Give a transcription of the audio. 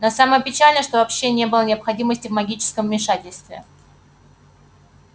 но самое печальное что вообще не было необходимости в магическом вмешательстве